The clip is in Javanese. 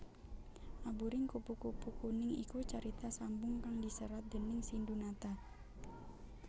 Aburing Kupu kupu Kuning iku carita sambung kang diserat déning Sindhunata